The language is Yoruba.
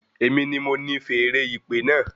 Èmi ni mo ni feèrè ìpè náà